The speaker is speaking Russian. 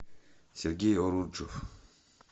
сергей уруджев